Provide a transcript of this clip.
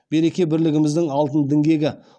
береке бірлігіміздің алтын діңгегі